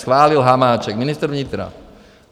Schválil Hamáček, ministr vnitra.